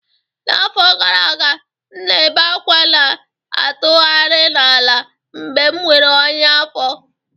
N'afọ gara aga, m na-ebe ákwá na-atụgharị n'ala mgbe m nwere ọnyá afọ